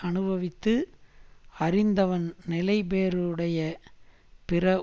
அனுபவித்து அறிந்தவன் நிலைபேறுடைய பிற